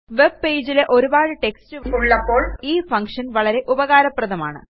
webpageൽ ഒരുപാട് ടെക്സ്റ്റ് ഉള്ളപ്പോൾ ഈ ഫങ്ഷൻ വളരെ ഉപകാരപ്രദമാണ്